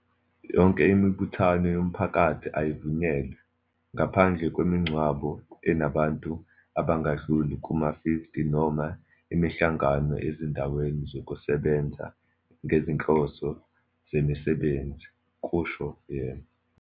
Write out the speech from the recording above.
"Yonke imibuthano yomphakathi ayivunyelwe, ngaphandle kwemingcwabo enabantu abangadluli kuma-50 noma imihlangano ezindaweni zokusebenza ngezinhloso zemisebenzi," kusho yena.